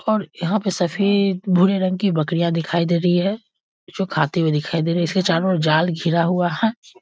और यहाँ पर सभी भूरे रंग की बकरियां दिखाई दे रही है जो खाती हुई दिखाई दे रही है इसके चारों ओर जाल घिरा हुआ है।